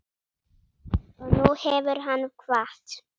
Og nú hefur hann kvatt.